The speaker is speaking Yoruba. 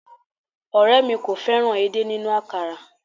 Òré mi kò fẹ́ràn èdè nínú àkàrà